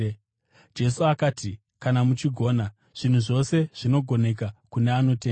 Jesu akati, “Kana muchigona? Zvinhu zvose zvinogoneka kune anotenda.”